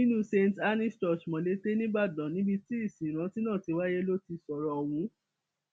nínú st annes church molete nìbàdàn níbi tí ìsìn ìrántí náà ti wáyé ló ti sọrọ ọhún